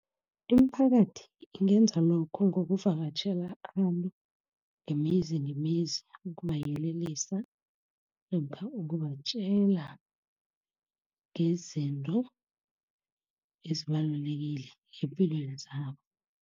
Imiphakathi ingenza lokho ngokuvakatjhela abantu ngemizi ngemizi, ukukubayelelisa namkha ukubatjela ngezinto ezibalulekile eempilweni zabo.